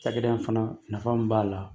Cakɛda in fana nafa min b'a la.